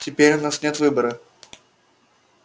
теперь у нас нет выбора